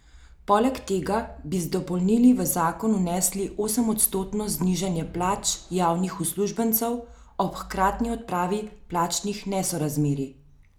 Poleg tega bi z dopolnili v zakon vnesli osemodstotno znižanje plač javnih uslužbencev ob hkratni odpravi plačnih nesorazmerij.